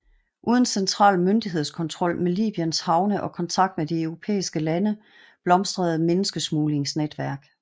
Uden central myndighedskontrol med Libyens havne og kontakt med de europæiske lande blomstrede menneskesmuglingsnetværk